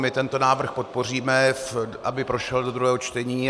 My tento návrh podpoříme, aby prošel do druhého čtení.